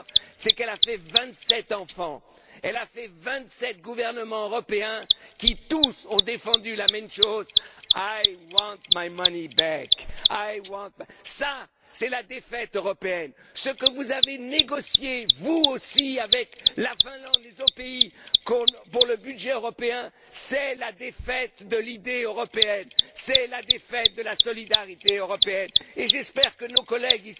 C'est qu'elle a fait vingt sept enfants, vingt sept gouvernements européens qui, tous, ont défendu la même chose I want my money back'. Ça, c'est la défaite européenne, ce que vous avez négocié vous aussi avec la Finlande, avec les autres pays, comme pour le budget européen, c'est la défaite de l'idée européenne, c'est la défaite de la solidarité européenne et j'espère que nos collègues